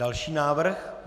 Další návrh?